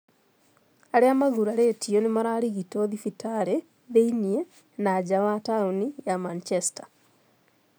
Arĩa magurarĩtio nĩ mararigitwo thibitarĩ thĩiniĩ na nja wa taũni ya Manchester.